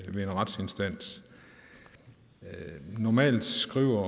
ved en retsinstans normalt skriver